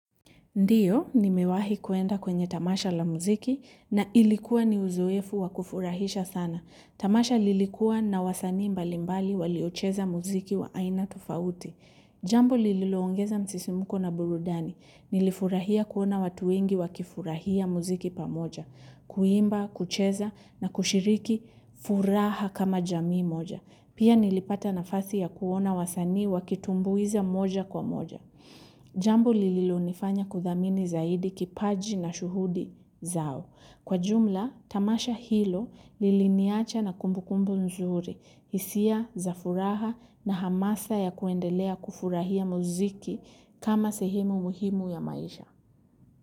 Ndiyo, nimewahi kuenda kwenye tamasha la muziki na ilikuwa ni uzoefu wa kufurahisha sana. Tamasha lilikuwa na wasani mbalimbali waliocheza muziki wa aina tofauti. Jambo lililoongeza msisimuko na burudani. Nilifurahia kuona watu wengi wakifurahia muziki pamoja. Kuimba, kucheza na kushiriki furaha kama jamii moja. Pia nilipata nafasi ya kuona wasanii wakitumbuiza moja kwa moja. Jambo lililonifanya kuthamini zaidi kipaji na shuhudi zao. Kwa jumla, tamasha hilo liliniacha na kumbukumbu nzuri, hisia, za furaha na hamasa ya kuendelea kufurahia muziki kama sehemu muhimu ya maisha.